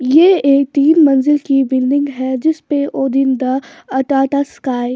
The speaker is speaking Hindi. ये एक तीन मंजिल की बिल्डिंग है जिस पे ओ दिन द अटाटा स्काई--